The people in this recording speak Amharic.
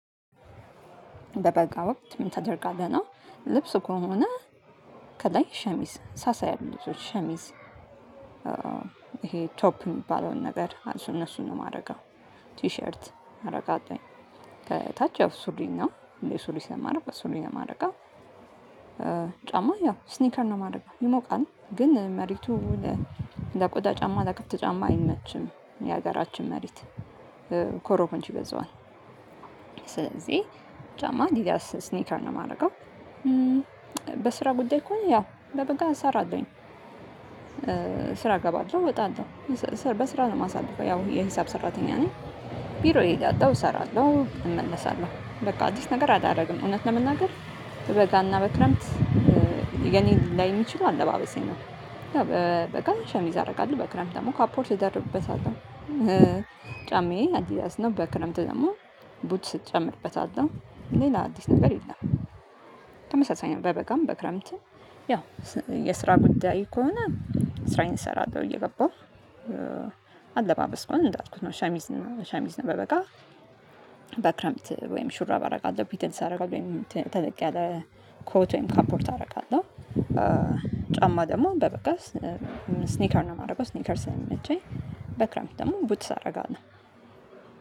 በበጋ ወቅት ምን ታደርጋለህ? ነው ልብስ ከሆነ ከላይ ሸሚዝ ሰሳ ያሉት ልብሶች ሸሚዝ ይሄ ቶፕ የሚባለውን ነገር እነሱን ነው የማደርገው። ቲሸርት አረጋለሁኝ። ከታች ያው ሱሪ ነው እኔ ሱሪ ስለማደርግ በሱሪ ነው የማረጋው። ያው ስኒከር ነው የማደርገው። ይሞቃል ግን መሬቱ ለቆዳ ጫማ ለከፍተ ጫማ አይመችም የሀገራችን መሪት ኮሮኮንች ይበዛዋል። ስለዚህ ጫማ አዲዳስ ስኒከር ነው የማደርገው። በስራ ጉዳይ ከሆነ ያው በበጋ ሰራለሁኝ። ስራ እገባለሁ እወጣለሁ። በስራ ነው የማሳልፈው ያው የሂሳብ ሰራተኛ ነኝ። ቢሮዬ የወጣው እሰራለሁ እመለሳለሁ በቃ አዲስ ነገር አዳረግም እውነት ነው። ለመናገር በበጋና በክረምት የኔ ሊለያይ የሚችለው አለባበሴ ነው በበጋም ሸሚዝ አደርጋለሁ በክረምት ደግሞ ካፖርት ደርብበታለሁ። ጫማዬ አዲዳያስ ነው በክረምት ደግሞ ቡትስ ጨምርበታለው ሌላ አዲስ ነገር የለም። ተመሳሳይ ነው በበጋም በክረምትም ያው የስራ ጉዳይ ከሆነ ስራዬን እሰራለሁ እየገባሁ። አለባበስ ከሆነ እንዳትኩት ነው ሸሚዝ ነው ሸሚዝ ነው በበጋ በክረምት ወይም ሹራብ አደርጋለሁ ፒትልስ አደርጋለሁ ወይም ተለቅ ያለ ኮት ወይም ካምፖርት አደርጋለሁ። ጫማ ደግሞ በበጋ ስኒከር ነው የማደርገው ስኒከር ስለሚመቸኝ በክረምት ደግሞ ቡትስ አደርጋለሁ።